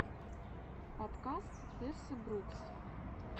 подкаст тессы брукс